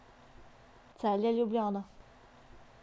Celje, Ljubljana.